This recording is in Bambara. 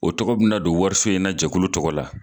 O tɔgɔ bɛna don wariso in na jɛkulu tɔgɔ la